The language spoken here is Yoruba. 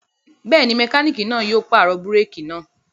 Bẹ́ẹ̀ ni, mẹkáníkì náà yóò pàrọ̀ búrékì náà.